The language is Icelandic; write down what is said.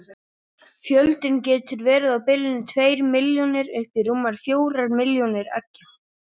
fjöldinn getur verið á bilinu tveir milljónir upp í rúmar fjórir milljónir eggja